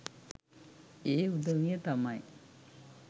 ඒ උදවිය තමයි.